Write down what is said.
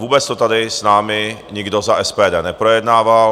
Vůbec to tady s námi nikdo za SPD neprojednával.